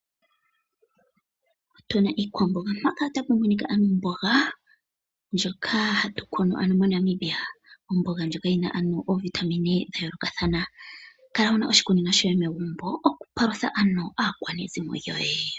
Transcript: Otu na iikwamboga, ano tu na omboga ndjoka hatu kunu ano moNamibia. Omboga ndjoka yi na oovitamine dha yoolokathana. Kala wu na oshikunino shoye megumbo okupalutha aakwanezimo lyoye.